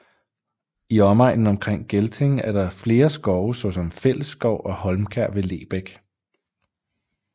I omegnen omkring Gelting er der flere skove såsom Fællesskov og Holmkær ved Lebæk